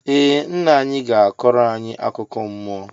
Ee ńnà anyị gá akọro anyị akụkọ mmụọ.